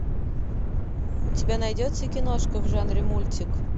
у тебя найдется киношка в жанре мультик